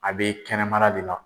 A bɛ kɛnɛmala de la